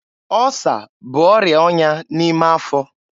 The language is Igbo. Ọsa bụ ọrịa ọnya n'ime afọ.